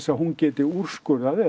að hún geti úrskurðað eða